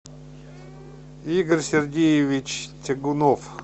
игорь сергеевич тягунов